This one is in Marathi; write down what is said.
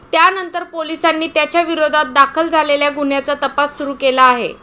त्यानंतर पोलिसांनी त्याच्याविरोधात दाखल झालेल्या गुन्ह्याचा तपास सुरू केला आहे.